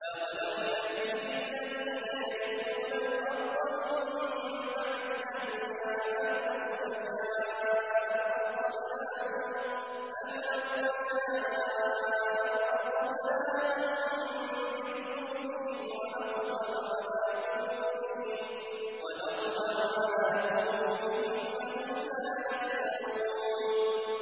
أَوَلَمْ يَهْدِ لِلَّذِينَ يَرِثُونَ الْأَرْضَ مِن بَعْدِ أَهْلِهَا أَن لَّوْ نَشَاءُ أَصَبْنَاهُم بِذُنُوبِهِمْ ۚ وَنَطْبَعُ عَلَىٰ قُلُوبِهِمْ فَهُمْ لَا يَسْمَعُونَ